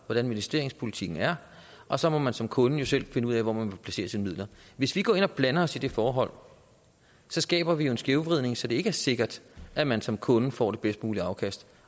hvordan investeringspolitikken er og så må man jo som kunde selv finde ud af hvor man vil placere sine midler hvis vi går ind og blander os i det forhold skaber vi jo en skævvridning så det ikke er sikkert at man som kunde får det bedst mulige afkast